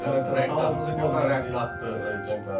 Rəqqatdır çempionata.